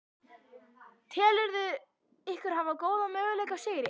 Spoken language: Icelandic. Telurðu ykkur hafa góða möguleika á sigri?